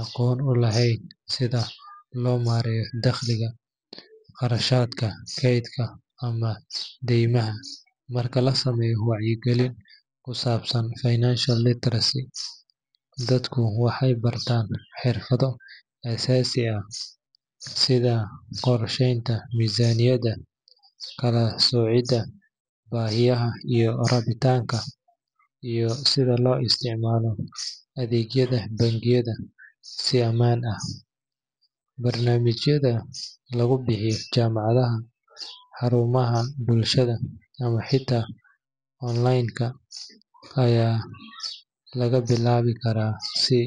aqoon u lahayn sida loo maareeyo dakhliga, kharashaadka, kaydka ama deymaha. Marka la sameeyo wacyigelin ku saabsan financial literacy, dadku waxay bartaan xirfado aasaasi ah sida qorsheynta miisaaniyadda, kala soocidda baahiyaha iyo rabitaanka, iyo sida loo isticmaalo adeegyada bangiyada si ammaan ah. Barnaamijyada lagu bixiyo jaamacadaha, xarumaha bulshada, ama xitaa onleen-ka, ayaa laga bilaabi karaa si